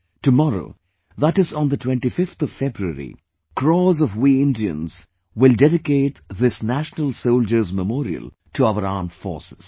Tomorrow, that is on the 25th of February, crores of we Indians will dedicate this National Soldiers' Memorial to our Armed Forces